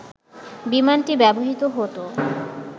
বিমানটি ব্যবহৃত হতো